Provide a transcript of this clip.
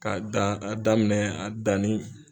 K'a da a daminɛ a danni.